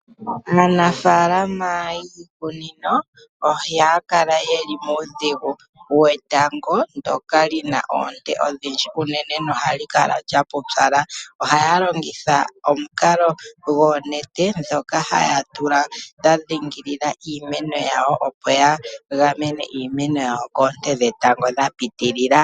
Aanafalama yiikunino ohaya kala yeli muudhigu wetango ndoka lina oonte odhindji unene nohali kala lya pupyala ohaya longitha omukalo goonete dhoka haya tula dha dhingilila iimeno yawo opo ya gamene iimeno yawo koonte dhetango dha pitilila.